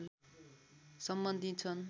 सम्बन्धित छन्